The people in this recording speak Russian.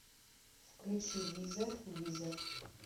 включи визер визер